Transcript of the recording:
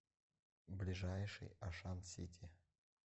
ближайший ашан сити